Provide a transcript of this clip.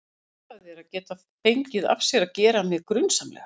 Hugsaðu þér að geta fengið af sér að gera mig grunsamlega.